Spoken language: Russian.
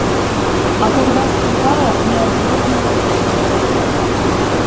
а когда сказала не отдёрнула руки